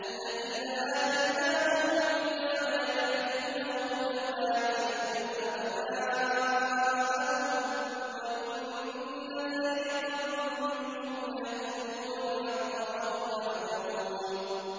الَّذِينَ آتَيْنَاهُمُ الْكِتَابَ يَعْرِفُونَهُ كَمَا يَعْرِفُونَ أَبْنَاءَهُمْ ۖ وَإِنَّ فَرِيقًا مِّنْهُمْ لَيَكْتُمُونَ الْحَقَّ وَهُمْ يَعْلَمُونَ